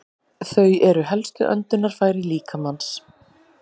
Þau eru helstu öndunarfæri líkamans.